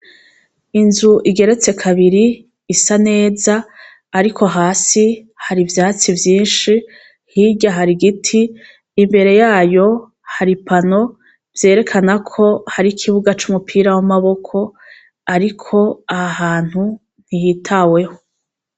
Inzu igeretse kabiri isa neza, ariko hasi har'ivyatsi vyinshi, hirya har'igiti. Imbere y'ayo har'ipano vyerekanako har'ikibuga c'umupira w'amaboko, ariko aha hantu ntihitaweho.